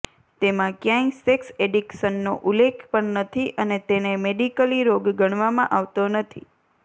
તેમાં ક્યાંય સેક્સ એડિક્શનનો ઉલ્લેખ પણ નથી અને તેને મેડિકલી રોગ ગણવામાં આવતો નથી